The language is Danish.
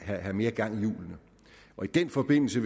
have mere gang i hjulene og i den forbindelse